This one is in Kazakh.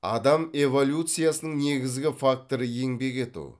адам эволюциясының негізгі факторы еңбек ету